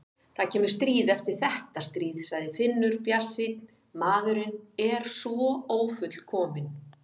Það kemur stríð eftir þetta stríð, sagði Finnur bjartsýnn, maðurinn er svo ófullkominn.